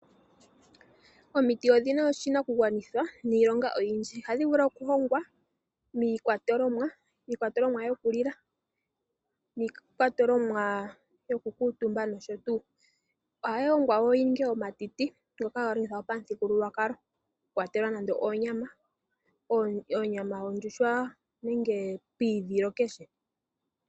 Omiti odhina oshinakugwanitha niilonga iyindji ohashi vulu okuhongwa miikwatolomwa yokulila niikwatolomwa yokukutumba nosho tuu. Ohayi ongwa woo yininge omatiti ngoka haga longithwa pamuthigululwakalo okukwatela nande oonya yondjuhwa nenge piidhilo keshe.